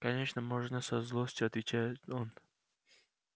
конечно можно со злостью отвечает он